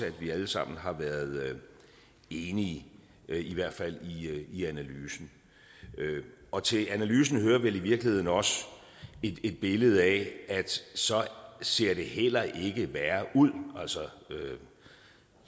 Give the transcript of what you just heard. at vi alle sammen har været enige i hvert fald i analysen og til analysen hører vel i virkeligheden også et billede af at så ser det heller ikke værre ud altså